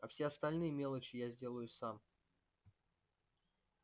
а все остальные мелочи я сделаю сам